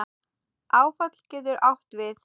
Áfall getur átt við